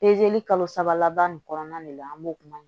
kalo saba laban nin kɔnɔna de la an b'o kuma